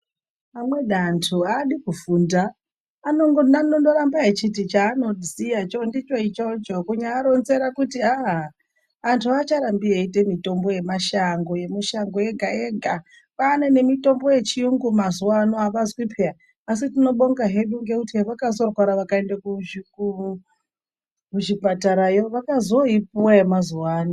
Amweni antu adi kufunda anondo ramba echiti cha ano ziya icho ndicho ichocho kunya aronzera kuti aa antu acharambi eyi ite mitombo ye mashango yemu shango yega yega kwane ne mitombo ye chiyungu mazuva ano avazwi peya asi tino bonga heku ngekuti he hevakazo rwara vaka ende ku zvipatara yo vakazo ipuwa ye mazuva ano.